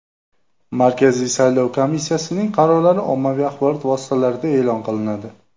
Markaziy saylov komissiyasining qarorlari ommaviy axborot vositalarida e’lon qilinadi.